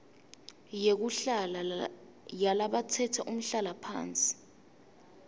yekuhlala yalabatsetse umhlalaphansi